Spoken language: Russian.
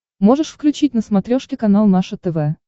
можешь включить на смотрешке канал наше тв